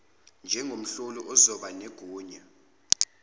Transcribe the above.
njengomhloli ozoba negunya